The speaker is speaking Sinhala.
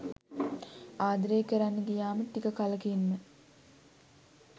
ආදරය කරන්න ගියාම ටික කලකින්ම